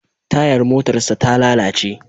Tayar motarsa ta lalace.